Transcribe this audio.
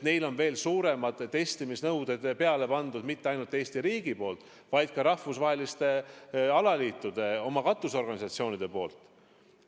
Neile on veel suuremad testimisnõuded peale pandud mitte ainult Eesti riigi poolt, vaid ka rahvusvaheliste alaliitude, oma katusorganisatsioonide poolt.